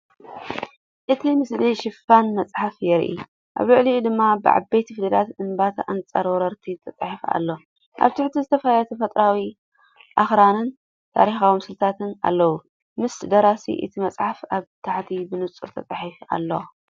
እቲ ምስሊ ሽፋን መጽሓፍ የርኢ። ኣብ ልዕሊኡ ድማ ብዓበይቲ ፊደላት "እምቢታ ኣንፃር ወረርቲ" ተጻሒፉ ኣሎ። ኣብ ታሕቲ ዝተፈላለዩ ተፈጥሮኣዊ ኣኽራንን ታሪኻዊ ምስልታትን ኣለዉ። ስም ደራሲ እታ መጽሓፍ ኣብ ታሕቲ ብንጹር ተጻሒፉ ኣሎ።